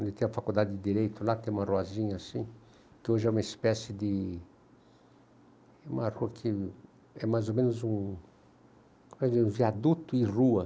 Onde tem a faculdade de Direito, lá tem uma ruazinha assim, que hoje é uma espécie de... É uma rua que é mais ou menos um viaduto e rua.